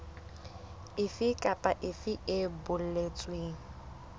efe kapa efe e boletsweng